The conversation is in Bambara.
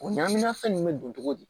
O ɲaŋaminafɛn nunnu be don togo di